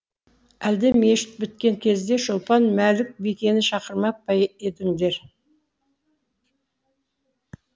әлде мешіт біткен кезде шолпан мәлік бикені шақырмап па едіңдер